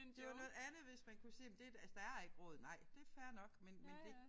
Det jo noget andet hvis man kunne se men det et altså der er ikke råd nej det fair nok men men det